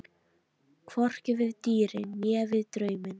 Hvorki við dýrin né við drauminn.